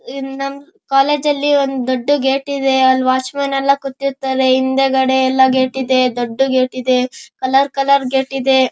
ಈ ನಮ್ ಕಾಲೇಜು ಅಲ್ಲಿ ಒಂದು ದೊಡ್ಡ ಗೇಟ್ ಇದೆ. ಅಲ್ಲಿ ವಾಚ್ ಮೆನ್ ಎಲ್ಲ ಕೂತಿರ್ತಾರೆ ಹಿಂದಗಡೆ ಎಲ್ಲ ಗೇಟ್ ಇದೆ ದೊಡ್ಡ ಗೇಟ್ ಇದೆ ಕಲರ್ ಕಲರ್ ಗೇಟ್ ಇದೆ.